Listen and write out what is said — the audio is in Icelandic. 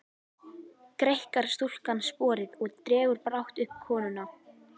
Greikkar stúlkan sporið og dregur brátt uppi konuna.